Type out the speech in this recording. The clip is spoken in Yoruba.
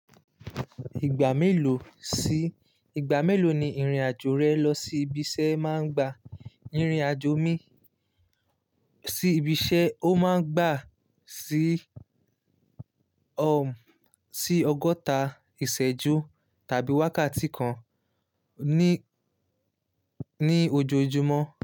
Ìgbà mélòó sí, ìgbà mélòó ni ìrìn-àjò rẹ lọ sí ibi iṣẹ́ máa ń gba? Ìrìn-àjò mi sí ibi iṣẹ́ ó máa ń gbà sí, um, sí ọgọ́ta ìṣẹ́jú tàbí wákàtí kan ni ní, ní ojoojúmọ́.